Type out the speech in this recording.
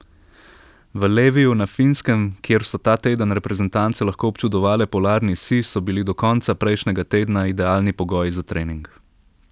V Leviju na Finskem, kjer so ta teden reprezentance lahko občudovale polarni sij, so bili do konca prejšnjega tedna idealni pogoji za trening.